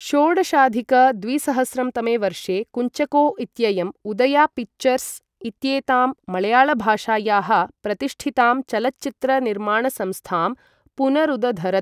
षोडशाधिक द्विसहस्रं तमे वर्षे कुञ्चको इत्ययम् उदया पिक्चर्स् इत्येतां मळयाळभाषायाः प्रतिष्ठितां चलच्चित्र निर्माणसंस्थां पुनरुदधरत्।